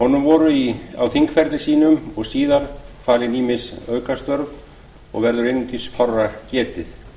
honum var á þingferli sínum og síðar falin ýmis aukastörf og verður einungis fárra getið